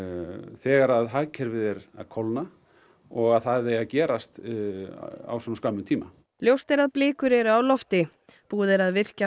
þegar hagkerfið er að kólna og að það eigi að gerast á svona skömmum tíma ljóst er að blikur eru á lofti búið er að virkja